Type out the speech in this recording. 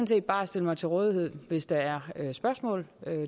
set bare stille mig til rådighed hvis der er spørgsmål